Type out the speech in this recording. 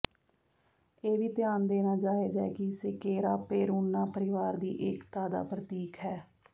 ਇਹ ਵੀ ਧਿਆਨ ਦੇਣਾ ਜਾਇਜ਼ ਹੈ ਕਿ ਸੇਕੇਰਾ ਪੇਰੂਨਾ ਪਰਿਵਾਰ ਦੀ ਏਕਤਾ ਦਾ ਪ੍ਰਤੀਕ ਹੈ